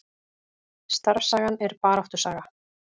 Starfssagan er baráttusaga